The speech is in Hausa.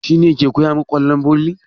Shi ne ke koya muku ƙwallon volley?